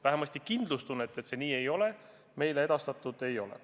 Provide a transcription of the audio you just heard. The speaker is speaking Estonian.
Vähemasti kindlustunnet, et see nii ei ole, meile antud pole.